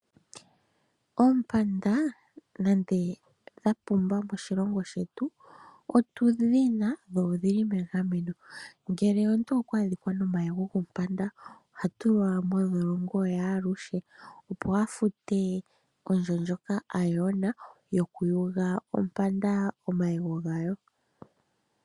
Oompanda nande dha pumba moshilongo shetu, otudhi na dho odhili megameno, ngele omuntu okwa adhika nomayego gompanda oha tulwa mondholongo yaaluhe opo a fute ondjo ndjoka a yona yokuyuga ompanda omayego gayo.